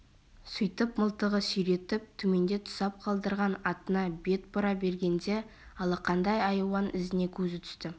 сөйтіп мылтығын сүйретіп төменде тұсап қалдырған атына бет бұра бергенде алақандай айуан ізіне көзі түсті